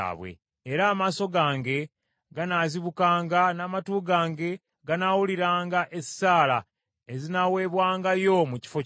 Era amaaso gange ganaazibukanga, n’amatu gange ganaawuliranga esaala ezinaawebwangayo mu kifo kino.